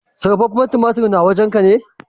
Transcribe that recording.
Sarrafafen tumatur na, na wajen ka?